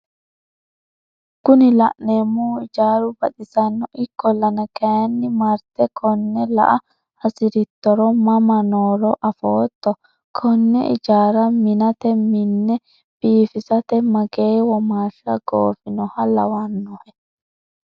Kuni la'neemohu ijaaru badhisanno ikkollana kayiinni marte konne la"a hasirittoro mama nooro afootto? Konne ijaara minate minne biifisate magee womaashi goofinoha lawannohe?